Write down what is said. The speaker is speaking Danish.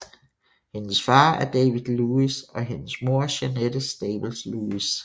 Hendes far er David Lewis og hendes mor er Jeannette Staples Lewis